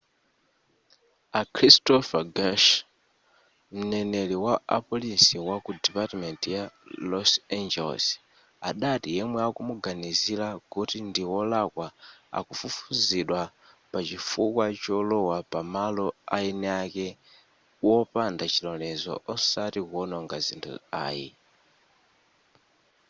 a christopher garcia mneneri wa apolisi waku dipatiment ya los angeles adati yemwe akumuganizira kuti ndi wolakwa akufufuzidwa pa chifukwa cholowa pamalo aeni ake wopanda chilolezo osati kuwononga zinthu ayi